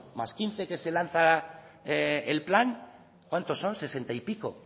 más quince que se lanza el plan cuántos son sesenta y pico